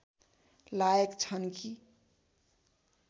लायक छन् कि